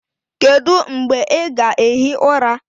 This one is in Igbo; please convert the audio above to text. Kedu mgbe ị ga-ehi ụra?